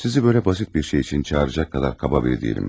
Sizi belə basit bir şey üçün çağıracaq qədər qaba biri deyiləm.